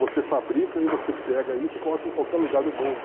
você fabrica e você pega isso e coloca em qualquer lugar do mundo.